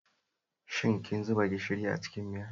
Shin kin zuba gishiri a cikin miyar?